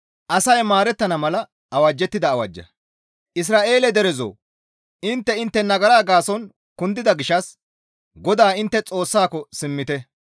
Isra7eele derezoo! Intte intte nagara gaason kundida gishshas GODAA intte Xoossako simmite.